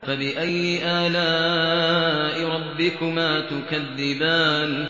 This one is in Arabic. فَبِأَيِّ آلَاءِ رَبِّكُمَا تُكَذِّبَانِ